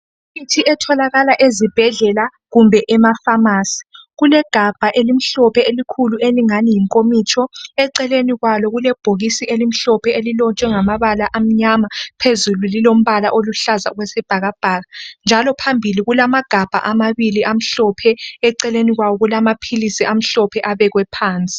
Imithi etholakala ezibhedlela kumbe emafamasi. Kulegabha elimhlophe elikhulu elingani yinkomitsho. Eceleni kwalo kulebhokisi elimhlophe elilotshwe ngamabala amnyama phezulu lilombala oluhlaza okwesibhakabhaka. Njalo phambili kulamagabha amabili amhlophe, eceleni kwawo kulama philisi amhlophe abekwe phansi.